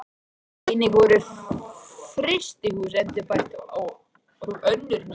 Einnig voru mörg frystihús endurbætt og önnur ný reist.